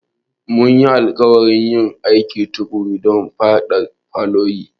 Mun yi alƙawarin yin aiki tuƙuru don yaƙar foliyo.